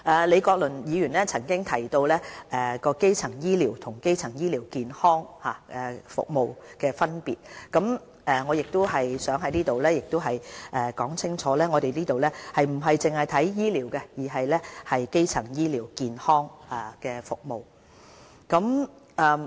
李國麟議員曾提及基層醫療和基層醫療健康服務的分別，我想在此表明，我們不只是着眼於醫療，而是整體基層醫療健康服務。